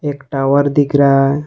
एक टावर दिख रहा है।